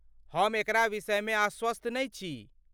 हम एकरा विषयमे आश्वस्त नहि छी।